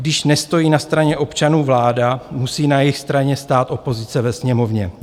Když nestojí na straně občanů vláda, musí na jejich straně stát opozice ve Sněmovně.